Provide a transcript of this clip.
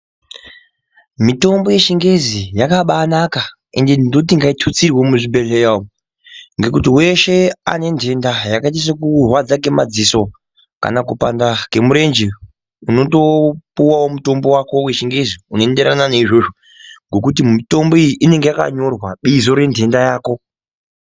Mitombo yechingezi yakabaanaka ende ndoti ngaitutsirwe muzvibhedhlera umo ngekuti weshe ane ntenda yakaita sekurwadza ngemadziso kana kupanda kemurenje unotopuwawo mutombo wako wechingezi unoenderana neizvozvo ngekuti mitombo iyi inenge yakanyorwa bizo rentenda yako.